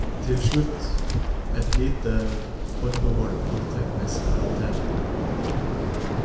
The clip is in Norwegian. Til slutt et lite forbehold av teknisk karakter.